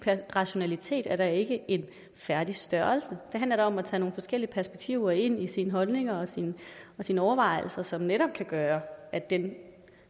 rationalitet er da ikke en færdig størrelse det handler da om at tage nogle forskellige perspektiver ind i sine holdninger og sine sine overvejelser som netop kan gøre at den